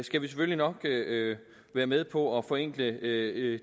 skal vi selvfølgelig nok være med på at forenkle